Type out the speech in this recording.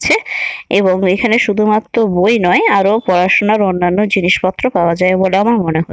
ছে এবং এখানে শুধুমাত্র বই নয় আরো পড়াশোনার অন্যান্য জিনিসপত্র পাওয়া যায় বলে আমার মনে হ--